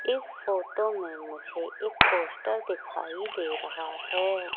इस फोटो मे मुझे एक पोस्टर दिखाई दे रहा है।